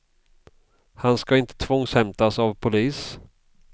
Han ska inte tvångshämtas av polis.